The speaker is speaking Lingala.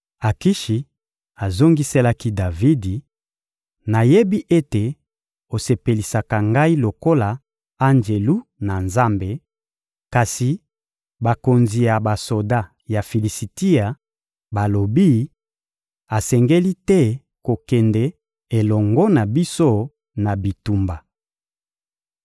Akishi azongiselaki Davidi: — Nayebi ete osepelisaka ngai lokola Anjelu na Nzambe, Kasi bakonzi ya basoda ya Filisitia balobi: «Asengeli te kokende elongo na biso na bitumba.»